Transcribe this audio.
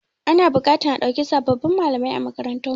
Ana buƙatar a dauki sababbin malamai a makarantarmu.